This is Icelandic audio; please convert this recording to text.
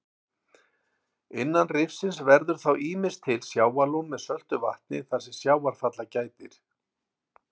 Innan rifsins verður þá ýmist til sjávarlón með söltu vatni þar sem sjávarfalla gætir.